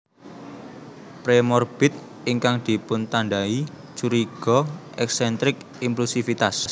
Premorbid ingkang dipuntandai curiga eksentrik implusivitas